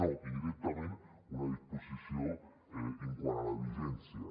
no i directament una disposició quant a la vigència